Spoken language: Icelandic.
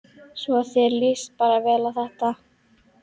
Svo þér líst bara vel á þetta?